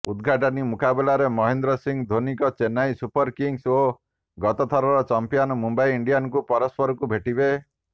ଉଦ୍ଘାଟନୀ ମୁକାବିଲାରେ ମହେନ୍ଦ୍ର ସିଂ ଧୋନୀଙ୍କ ଚେନ୍ନାଇ ସୁପର କିଙ୍ଗ୍ସ ଓ ଗତଥରର ଚାମ୍ପିୟନ ମୁମ୍ବାଇ ଇଣ୍ଡିଆନ୍ସ ପରସ୍ପରକୁ ଭେଟିବେ